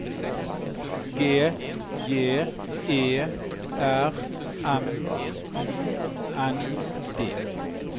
G J E R M U N D